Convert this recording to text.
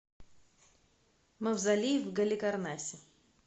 мавзолей в галикарнасе